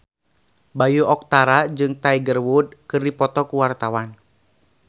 Bayu Octara jeung Tiger Wood keur dipoto ku wartawan